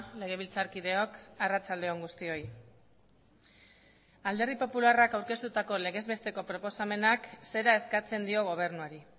legebiltzarkideok arratsalde on guztioi alderdi popularrak aurkeztutako legez besteko proposamenak zera eskatzen dio gobernuari